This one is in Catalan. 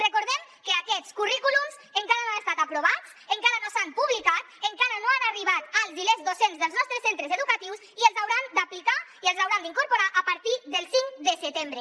recordem que aquests currículums encara no han estat aprovats encara no s’han publicat encara no han arribat als i les docents dels nostres centres educatius i els hauran d’aplicar i els hauran d’incorporar a partir del cinc de setembre